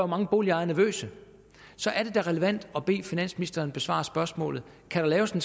mange boligejere nervøse så er det da relevant at bede finansministeren besvare spørgsmålet kan der laves en